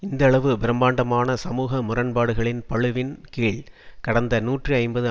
இந்தளவு பிரமாண்டமான சமூக முரண்பாடுகளின் பளுவின் கீழ் கடந்த நூற்றி ஐம்பது